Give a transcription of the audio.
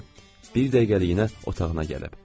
Bir dəqiqəliyinə otağına gəlib.